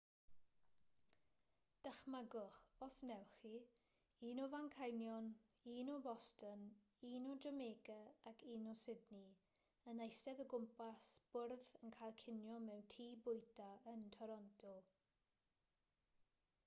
dychmygwch os wnewch chi un o fanceinion un o boston un o jamaica ac un o sydney yn eistedd o gwmpas bwrdd yn cael cinio mewn tŷ bwyta yn toronto